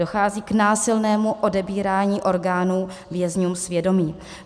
Dochází k násilnému odebírání orgánů vězňům svědomí.